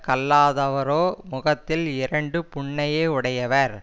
கல்லாதவரோ முகத்தில் இரண்டு புண்ணையே உடையவர்